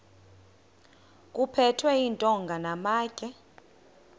kuphethwe iintonga namatye